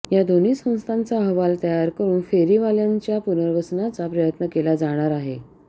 या दोन्ही संस्थांचा अहवाल तयार करून फेरीवाल्यांच्या पुनर्वसनाचा प्रयत्न केला जाणार आहे